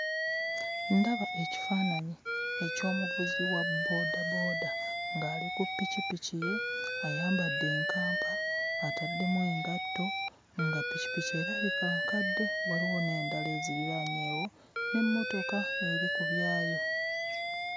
Ndaba ekifaananyi eky'omuvuzi wa booda booda ng'ali ku pikipiki ye ayambadde enkampa ataddemu engatto nga pikipiki erabika nkadde, waliwo n'endala eziriraanyeewo n'emmotoka eri ku byaayo.